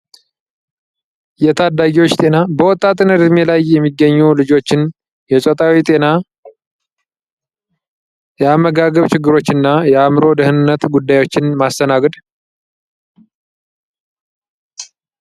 የታዳጊዎች ጤና በወጣትነት እድሜ ላይ የሚገኙ ልጆችን የ ፆታዊ ጤና የ አመጋገብ ቺግሮችን እና የ አምሮ ደህንነት ጉዳዮችን ማስተናገድ